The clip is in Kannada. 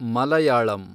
ಮಲಯಾಳಂ